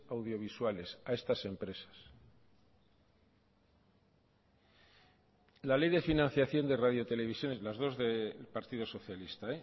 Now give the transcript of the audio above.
audiovisuales a estas empresas la ley de financiación de radio televisiones las dos del partido socialista